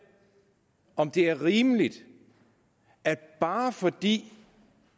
om det er rimeligt at bare fordi